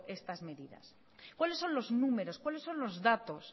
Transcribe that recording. estas medidas cuáles son los números cuáles son los datos